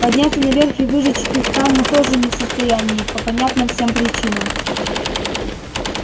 подняться наверх и выжечь их там мы тоже не в состоянии по понятным всем причинам